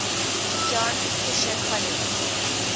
john fisher college